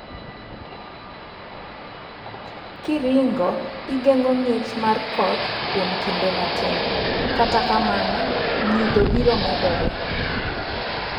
Kiringo, igeng'o ngich mar koth kuom kinde matin, kata kamano nyidho biro medore.